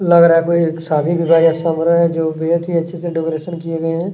लग रहा है कोई शादी विवाह का समारोह हो रहा है जो बहोत ही अच्छे से डेकोरेशन किया गया हैं।